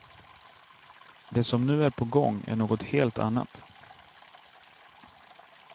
Det som nu är på gång är något helt annat.